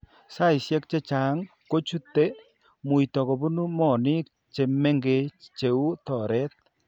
Saishek chechang' kochute muito kobune moonik che mengech che u toret.